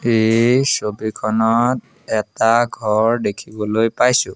এই ছবিখনত এটা ঘৰ দেখিবলৈ পাইছোঁ।